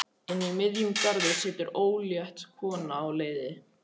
Inni í miðjum garði situr ólétt kona á leiði.